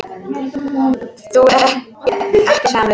Þú ert ekki samur.